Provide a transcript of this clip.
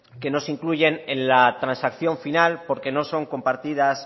que no se incluyen en la transacción final porque no son compartidas